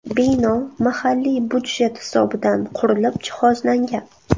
Bino mahalliy budjet hisobidan qurilib, jihozlangan.